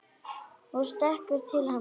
Og stekkur til hennar.